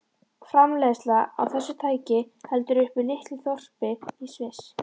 Framleiðsla á þessu tæki heldur uppi litlu þorpi í Sviss.